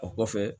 O kɔfɛ